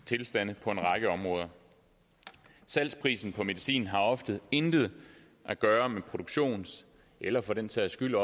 tilstande på en række områder salgsprisen på medicin har ofte intet at gøre med produktions eller for den sags skyld